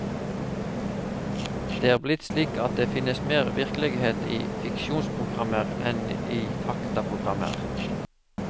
Det er blitt slik at det finnes mer virkelighet i fiksjonsprogrammer enn i faktaprogrammer.